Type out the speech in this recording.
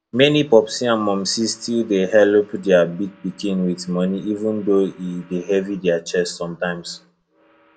many popsi and momsi still dey helep their big pikin with money even though e dey heavy their chest sometimes